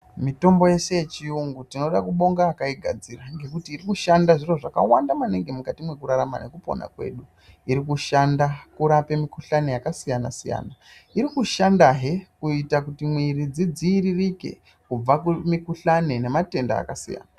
Mitombo yeshe yechiyungu tinoda kubonga akaigadzira nekuti mukati mwekurarama nekupona kwedu irikushanda kurapa mikuhlani yakasiyana siyana irikushanda kuti mwiri dzidziiririke kumatenda akasiyana siyana.